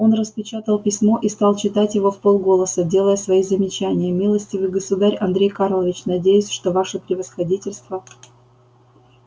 он распечатал письмо и стал читать его вполголоса делая свои замечания милостивый государь андрей карлович надеюсь что ваше превосходительство